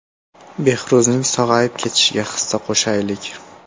Behruzning sog‘ayib ketishiga hissa qo‘shaylik!